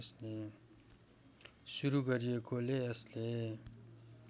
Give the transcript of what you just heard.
सुरु गरिएकोले यसले